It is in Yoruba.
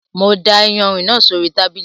Mo da ìyanrìn náà sóri tábìlì